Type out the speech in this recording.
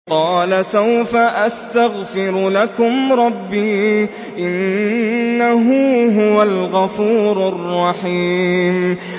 قَالَ سَوْفَ أَسْتَغْفِرُ لَكُمْ رَبِّي ۖ إِنَّهُ هُوَ الْغَفُورُ الرَّحِيمُ